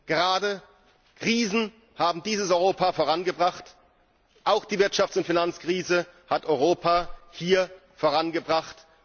Gerade Krisen haben dieses Europa vorangebracht, auch die Wirtschafts und Finanzkrise hat Europa hier vorangebracht.